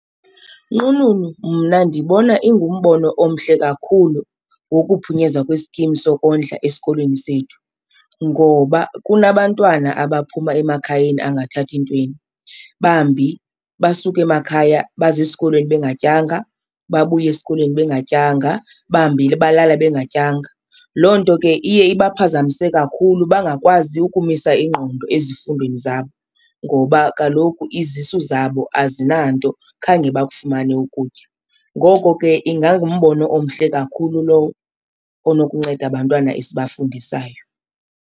Nqununu, mna ndibona ingumbono omhle kakhulu wokuphunyezwa kweskim sokondla esikolweni sethu ngoba kunabantwana abaphuma emakhayeni angathathi ntweni, bambi basuka emakhaya baze esikolweni bengatyanga, babuye esikolweni bengatyanga, bambi balala bengatyanga. Loo nto ke iye ibe baphazamise kakhulu bangakwazi ukumisa ingqondo ezifundweni zabo ngoba kaloku izisu zabo azinanto, khange bakufumane ukutya. Ngoko ke ingangumbono omhle kakhulu lowo onokunceda abantwana esibafundisayo.